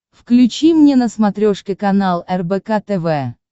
включи мне на смотрешке канал рбк тв